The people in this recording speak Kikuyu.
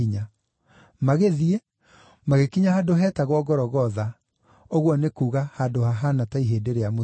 Magĩthiĩ, magĩkinya handũ heetagwo Gologotha (ũguo nĩ kuuga Handũ hahaana ta Ihĩndĩ rĩa Mũtwe).